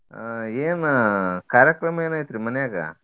ಆಹ್ ಏನ ಕಾರ್ಯಕ್ರಮ ಏನ ಐತ್ರಿ ಮನ್ಯಾಗ?